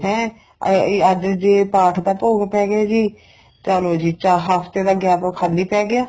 ਹੈ ਇਹ ਅੱਜ ਜੇ ਪਾਠ ਦਾ ਭੋਗ ਪੇ ਗਿਆ ਜੀ ਚਲੋ ਜੀ ਹਫਤੇ ਦਾ gap ਖਾਲੀ ਪੈ ਗਿਆ